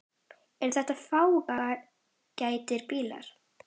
Eru þetta fágætir bílar?